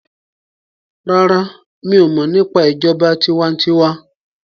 ràrá mi'o mo nípa ìjọba tiwantiwa.